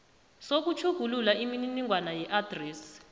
sokutjhugulula imininingwana yeadresi